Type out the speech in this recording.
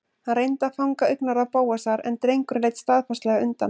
Hann reyndi að fanga augnaráð Bóasar en drengurinn leit staðfastlega undan.